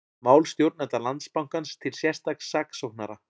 Mál stjórnenda Landsbankans til sérstaks saksóknara